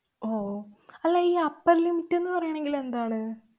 ഓ, അല്ല ഈ upper limit ന്ന് പറയണങ്കിലെന്താണ്?